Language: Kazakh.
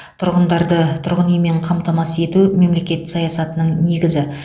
тұрғындарды тұрғын үймен қамтамасыз ету мемлекет саясатының негізі